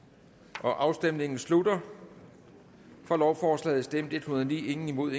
afstemningen slutter for lovforslaget stemte en hundrede og ni imod